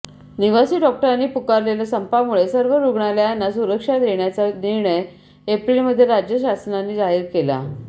निवासी डॉक्टरांनी पुकारलेल्या संपामुळे सर्व रुग्णालयांना सुरक्षा देण्याचा निर्णय एप्रिलमध्ये राज्य शासनाने जाहीर केला